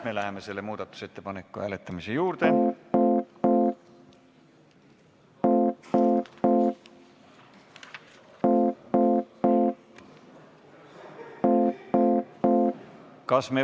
Me läheme selle muudatusettepaneku hääletamise juurde.